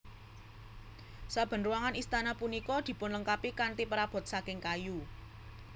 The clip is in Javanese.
Saben ruangan Istana punika dipunlengkapi kanthi prabot saking kayu